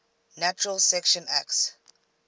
natural selection acts